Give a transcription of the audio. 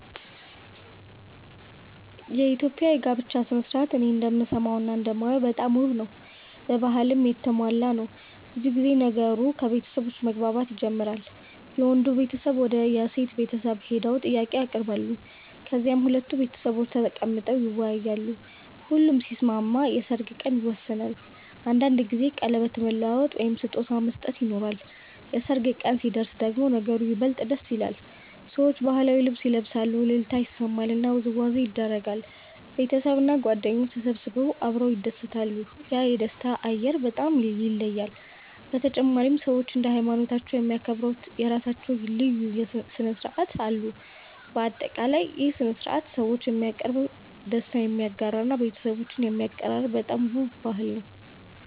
የኢትዮጵያ የጋብቻ ሥነ ሥርዓት እኔ እንደምሰማውና እንደማየው በጣም ውብ ነው፣ በባህልም የተሞላ ነው። ብዙ ጊዜ ነገሩ ከቤተሰቦች መግባባት ይጀምራል፤ የወንዱ ቤተሰብ ወደ የሴት ቤተሰብ ሄደው ጥያቄ ያቀርባሉ፣ ከዚያም ሁለቱ ቤተሰቦች ተቀምጠው ይወያያሉ። ሁሉም ሲስማሙ የሰርግ ቀን ይወሰናል፤ አንዳንድ ጊዜ ቀለበት መለዋወጥ ወይም ስጦታ መስጠት ይኖራል። የሰርግ ቀን ሲደርስ ደግሞ ነገሩ ይበልጥ ደስ ይላል፤ ሰዎች ባህላዊ ልብስ ይለብሳሉ፣ እልልታ ይሰማል እና ውዝዋዜ ይደረጋል። ቤተሰብና ጓደኞች ተሰብስበው አብረው ይደሰታሉ፤ ያ የደስታ አየር በጣም ይለያል። በተጨማሪም ሰዎች እንደ ሃይማኖታቸው የሚያከብሩት የራሳቸው ልዩ ሥነ ሥርዓቶች አሉ። በአጠቃላይ ይህ ሥነ ሥርዓት ሰዎችን የሚያቀርብ፣ ደስታን የሚያጋራ እና ቤተሰቦችን የሚያቀራርብ በጣም ውብ ባህል ነው።